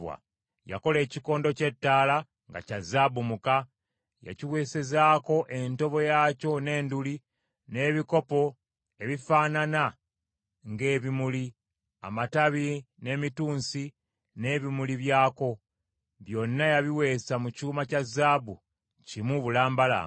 Yakola ekikondo ky’ettaala nga kya zaabu omuka. Yakiweesezaako entobo yaakyo n’enduli, n’ebikopo ebifaanana ng’ebimuli, amatabi n’emitunsi n’ebimuli byako; byonna yabiweesa mu kyuma kya zaabu kimu bulambalamba.